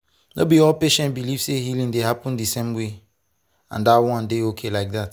no be all patients believe say healing dey happen the same way — and that one dey okay like that.